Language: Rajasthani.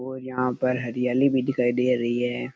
और यहाँ पर हरियाली भी दिखाई दे रही है।